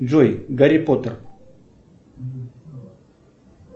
джой гарри поттер